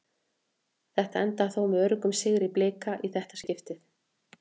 Þetta endar þó með öruggum sigri Blika í þetta skiptið.